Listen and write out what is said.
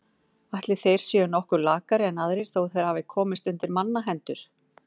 Ætli þeir séu nokkuð lakari en aðrir þó þeir hafi komist undir mannahendur.